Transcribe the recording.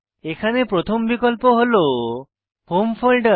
এখানে প্রথম বিকল্প হল হোম ফোল্ডের